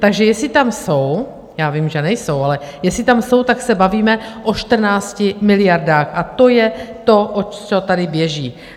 Takže jestli tam jsou, já vím, že nejsou, ale jestli tam jsou, tak se bavíme o 14 miliardách a to je to, o co tady běží.